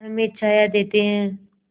पेड़ हमें छाया देते हैं